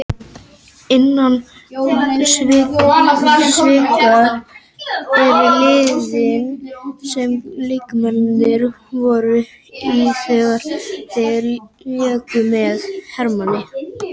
Innan sviga eru liðin sem leikmennirnir voru í þegar þeir léku með Hermanni.